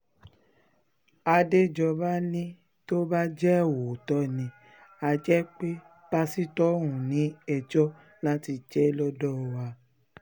àdèjọba ní tó bá jẹ́ òótọ́ ni á jẹ́ pé pásítọ̀ ọ̀hún ni ẹjọ́ láti jẹ lọ́dọ̀ wa